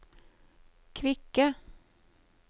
kvikke